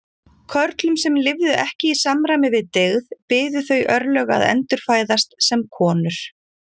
Körlum sem lifðu ekki í samræmi við dygð biðu þau örlög að endurfæðast sem konur.